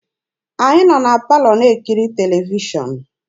Anyị nọ na palọ na-ekiri televishọn.